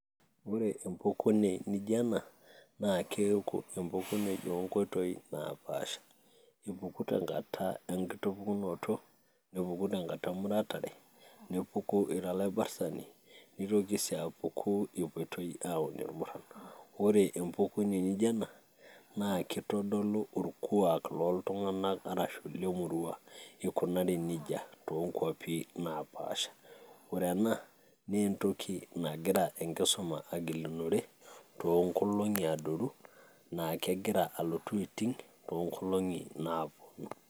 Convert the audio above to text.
ore empukune naijo ena ,naa keku empukune oo nkoitoi napaasha. epuku tenkata enkitubullunoto, epuku tenkata emuratare, nepuku tenkata olabrtani. neitoki sii apuku epoitoi aun ilmuran. ore empukune naijo ena naa kitodolu orkuaak looltunganak, araashu lemurua. eikunari nejia too nkuapi napaasha. ore ena naa entoki nagira enkisuma agilunore, tooo nkolong'i adoru na kegira alotu aiting' too nkolong'i naapuonu.